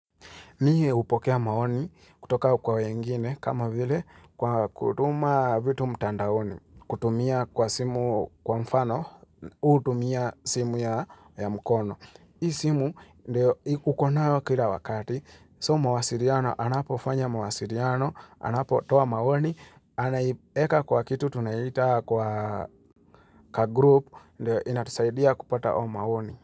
Mie hupokea maoni kutoka kwa wengine kama vile kwa kutuma vitu mtandaoni, kutumia kwa simu kwa mfano, hutumia simu ya mkono. Hii simu ndio uko nayo kila wakati, so mawasiliano anapofanya mawasiliano, anapotoa maoni, anaieka kwa kitu tunaita kwa kagroup ndio inatusaidia kupata hayo maoni.